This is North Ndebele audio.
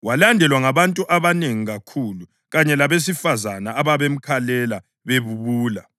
Walandelwa ngabantu abanengi kakhulu, kanye labesifazane ababemkhalela bebubula.